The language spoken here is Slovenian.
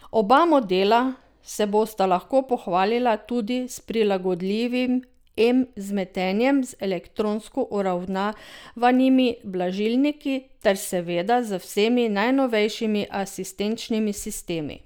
Oba modela se bosta lahko pohvalila tudi s prilagodljivim M vzmetenjem z elektronsko uravnavanimi blažilniki ter, seveda, z vsemi najnovejšimi asistenčnimi sistemi.